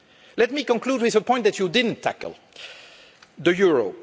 Let me conclude with a point that you didn't tackle the euro.